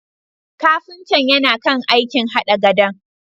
Kafintan yana kan aikin hada gadon.